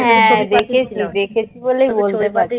হ্যাঁ হ্যাঁ দেখেছি দেখেছি বলেই বলতে পারছি